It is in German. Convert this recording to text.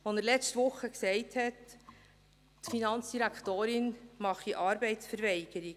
er sagte letzte Woche, die Finanzdirektorin mache Arbeitsverweigerung.